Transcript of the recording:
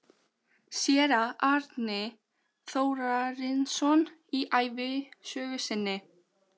Séra Árni Þórarinsson í ævisögu sinni